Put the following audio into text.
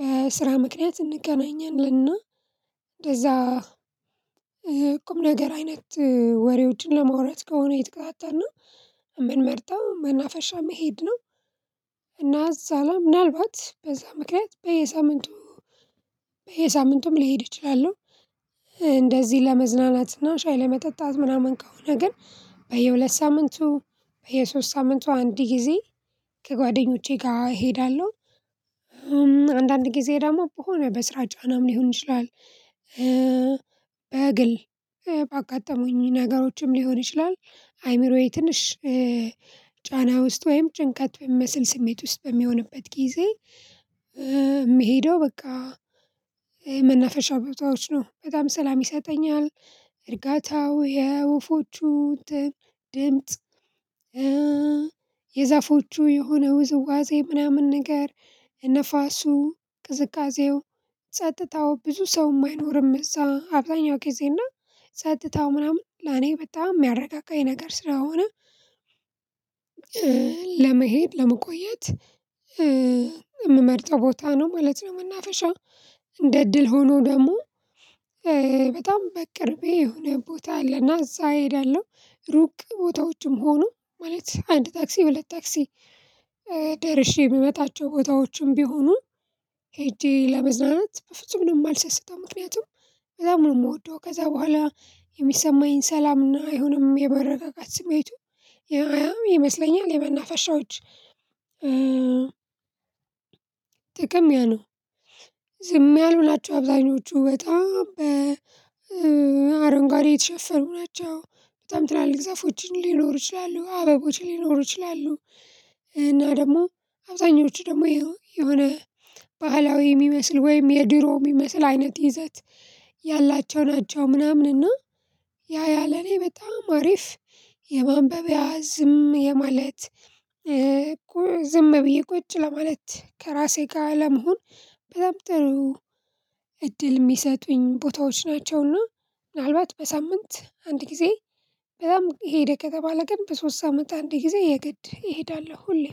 በስራ ምክንያት እንገናኛለንና እንደዛ ቁም ነገር አይነት ወሬዎችን ለማውራት ከሆነ የተቀጣጠርነው የምንመርጠው መናፈሻ መሄድ ነው። እና እዛ ላይ ምናልባት በዛ ምክንያት በየሳምንቱ በየሳምንቱም ልሄድ ይችላል እንደዚህ ለመዝናናትና ሻይ ለመጠጣት ምናምን ከሆነ ግን በየሁለት ሳምንቱ በየሶስት ሳምንቱ አንድ ጊዜ ከጓደኞቼ ጋር እሄዳለሁ። አንዳንድ ጊዜ ደግሞ በሆነ በስራ ጫናም ሊሆን ይችላል። በግል ባጋጠሙኝ ነገሮችም ሊሆን ይችላል አይምሮዬ ትንሽ ጫና ውስጥ ወይም ጭንቀት በሚመስል ስሜት ውስጥ በሚሆንበት ጊዜ። የምሄደው በቃ የመናፈሻ ቦታዎች ነው በጣም ሰላም ይሰጠኛል። እርጋታው የወፎቹ ድምጽ የዛፎቹ የሆነ ውዝዋዜ ምናምን ነገር ነፋሱ ቅዝቃዜው ጸጥታው ብዙ ሰው የማይኖርም እዛ አብዛኛው ጊዜ እና ጸጥታው ምናምን ለኔ በጣም የሚያረጋጋኝ ነገር ስለሆነ። ለመሄድ ለመቆየት የምመርጠው ቦታ ነው ማለት ነው። መናፈሻ እንደ እድል ሆኖ ደግሞ በጣም በቅርቤ የሆነ ቦታ አለና እዛ እሄዳለሁ። ሩቅ ቦታዎችም ሆኑ ማለት አንድ ታክሲ ሁለትታክሲ ደርሼ የምመጣቸው ቦታዎችም ቢሆኑ ሄጄ ለመዝናናት በፍጹም ነው የማልሰስተው። ምክንያቱም ከዛ በጣም ነው የምወደው ከዛ በኋላ የሚሰማኝን ሰላምና አይሆንም የመረጋጋት ስሜቱ ያያም ይመስለኛል የመናፈሻዎች ጥቅም ያ ነው። ዝም ያሉ ናቸው አብዛኞቹ በጣም በአረንጓዴ የተሸፈኑ ናቸው። በጣም ትላልቅ ዛፎች ሊኖሩ ይችላሉ አበቦችን ሊኖሩ ይችላሉ። እና ደግሞ አብዛኞቹ ደግሞ የሆነ ባህላዊ የሚመስል ወይም የድሮ የሚመስል አይነት ይዘት ያላቸው ናቸው። ምናምን እና ያ ያ ለኔ በጣም አሪፍ የማንበብ ያ ዝም የማለት ዝም ብዬ ቁጭ ለማለት ከራሴ ጋር ለመሆን በጣም ጥሩ እድል የሚሰጡኝ ቦታዎች ናቸውና። ምናልባት በሳምንት አንድ ጊዜ በጣም ሄደ ከተባለ ግን በሶስት ሳምንት አንድ ጊዜ የገድ እሄዳለሁ ሁሌ